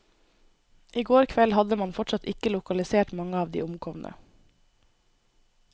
I går kveld hadde man fortsatt ikke lokalisert mange av de omkomne.